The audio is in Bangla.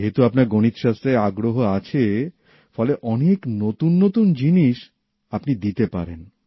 যেহেতু আপনার গণিতশাস্ত্রে আগ্রহ আছে ফলে অনেক নতুন নতুন জিনিস আপনি দিতে পারেন